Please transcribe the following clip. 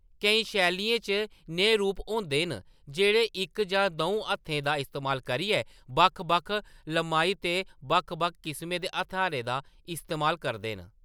केईं शैलियें च नेहे रूप होंदे न जेह्‌‌ड़े इक जां द'ऊ हत्थें दा इस्तेमाल करियै बक्ख-बक्ख लम्माई ते बक्ख-बक्ख किसमें दे हथ्यारें दा इस्तेमाल करदे न।